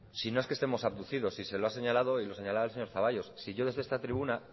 si no es que estemos abducidos si se lo ha señalado y lo señalaba el señor zaballos si yo desde esta tribuna